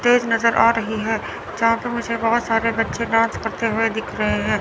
Stage नजर आ रही है जहां पर मुझे बहोत सारे बच्चे डांस करते हुए दिख रहे हैं।